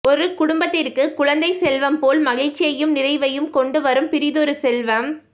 ஒரு குடும்பத்திற்கு குழந்தைச் செல்வம் போல் மகிழ்ச்சியையும் நிறைவையும் கொண்டு வரும் பிறிதொரு செல்வம்